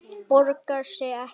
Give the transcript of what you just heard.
Borgar sig ekki?